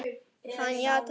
Hann játaði því.